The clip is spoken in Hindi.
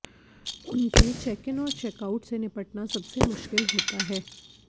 उनके चेक इन और चेक आउट से निपटना सबसे मुश्किल होता है